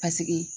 Paseke